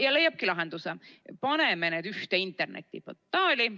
Ja leiabki lahenduse: paneme need ühte internetiportaali.